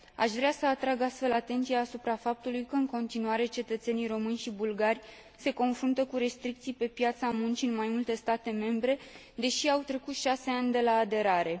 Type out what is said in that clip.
Aș vrea să atrag, astfel, atenția asupra faptului că, în continuare, cetățenii români și bulgari se confruntă cu restricții pe piața muncii în mai multe state membre, deși au trecut șase ani de la aderare.